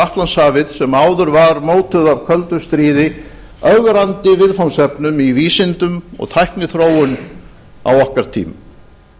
atlantshafið sem áður var mótuð af köldu stríði ögrandi viðfangsefnum í vísindum og tækniþróun á okkar tímum